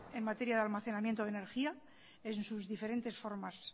en materia de almacenamiento de energía en sus diferentes formas